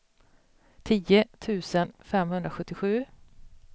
tio tusen femhundrasjuttiosju